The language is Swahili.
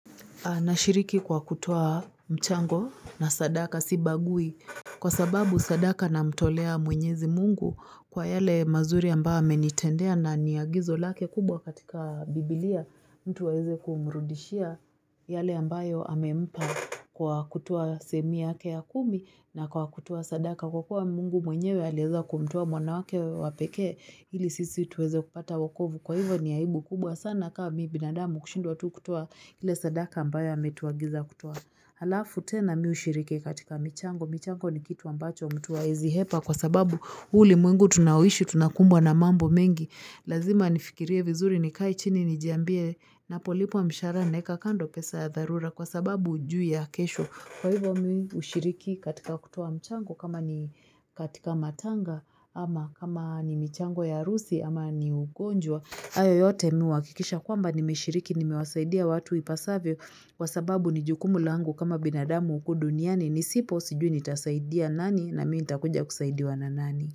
Anashiriki kwa kutoa mchango na sadaka sibagui kwa sababu sadaka namtolea mwenyezi mungu kwa yale mazuri ambao amenitendea na ni agizo lake kubwa katika bibilia mtu aweze kumrudishia yale ambayo amempa kwa kutoa sehemu yake ya kumi na kwa kutoa sadaka kwa kuwa mungu mwenyewe alieza kumtoa mwana wake wa pekee ili sisi tuweze kupata wokovu kwa hivyo ni aibu kubwa sana ka mi binadamu kushindwa tu kutoa ile sadaka ambayo ametuagiza kutoa halafu tena mi ushiriki katika michango. Michango ni kitu ambacho mtu haezi hepa kwa sababu huu ulimwengu tunaoishi tunakumbwa na mambo mengi Lazima nifikirie vizuri nikae chini nijiambie napolipwa mshahara naeka kando pesa ya dharura kwa sababu hujui ya kesho. Kwa hivyo mi ushiriki katika kutoa mchango kama ni katika matanga ama kama ni michango ya arusi ama ni ugonjwa. Hayo yoyote mi uhakikisha kwamba nimeshiriki nimewasaidia watu ipasavyo kwa sababu ni jukumu laangu kama binadamu uku duniani Nisipo sijui nitasaidia nani na mi nitakuja kusaidiwa na nani.